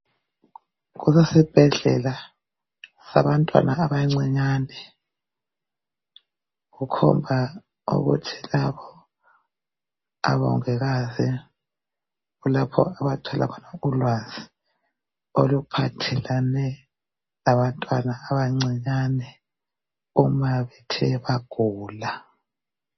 Kulesibhedlela sabantwana abancinyane. Kukhomba ukuthi labo obongikazi kulapho abathola khona ulwazi, oluphathelane, labantwana abancinyane uma bethe bagula.